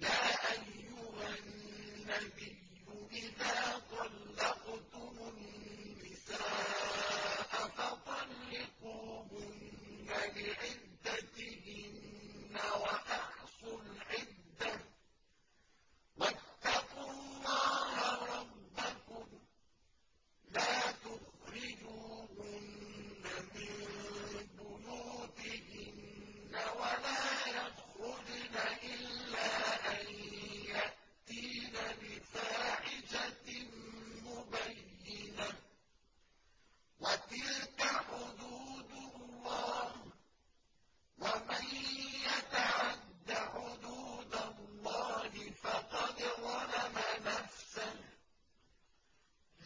يَا أَيُّهَا النَّبِيُّ إِذَا طَلَّقْتُمُ النِّسَاءَ فَطَلِّقُوهُنَّ لِعِدَّتِهِنَّ وَأَحْصُوا الْعِدَّةَ ۖ وَاتَّقُوا اللَّهَ رَبَّكُمْ ۖ لَا تُخْرِجُوهُنَّ مِن بُيُوتِهِنَّ وَلَا يَخْرُجْنَ إِلَّا أَن يَأْتِينَ بِفَاحِشَةٍ مُّبَيِّنَةٍ ۚ وَتِلْكَ حُدُودُ اللَّهِ ۚ وَمَن يَتَعَدَّ حُدُودَ اللَّهِ فَقَدْ ظَلَمَ نَفْسَهُ ۚ